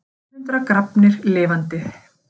Á annað hundrað grafnir lifandi